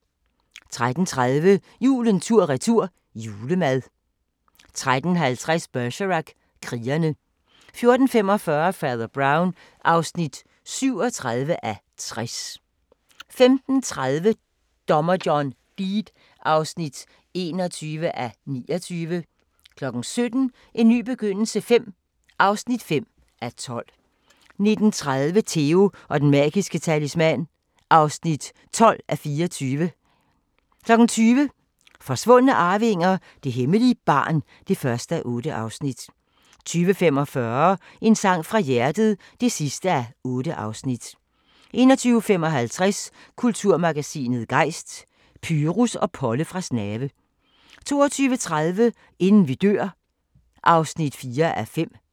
13:30: Julen tur-retur – julemad 13:50: Bergerac: Krigere 14:45: Fader Brown (37:60) 15:30: Dommer John Deed (21:29) 17:00: En ny begyndelse V (5:12) 19:30: Theo & Den Magiske Talisman (12:24) 20:00: Forsvundne arvinger: Det hemmelige barn (1:8) 20:45: En sang fra hjertet (8:8) 21:55: Kulturmagasinet Gejst: Pyrus og Polle fra Snave 22:30: Inden vi dør (4:5)